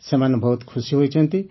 ସେମାନେ ବହୁତ ଖୁସି ହୋଇଛନ୍ତି